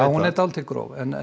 hún er dálítið gróf en